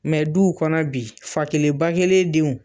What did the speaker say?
Mɛ duw kɔnɔ bi fa kelen ba kelen denw